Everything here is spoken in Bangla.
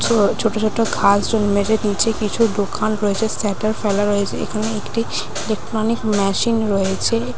ছো ছোট ছোট কিছু দোকান রয়েছে। স্ট্যাটার ফেলা রয়েছে। এখানে একটি ইলেকট্রনিক মেশিন রয়েছে।